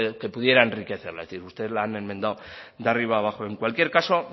que pudiera enriquecerla es decir ustedes la han enmendado de arriba abajo en cualquier caso